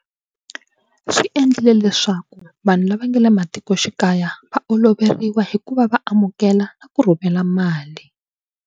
Swi endlile leswaku vanhu lava nga le matikoxikaya va oloveriwa hi ku va va amukela na ku rhumela mali.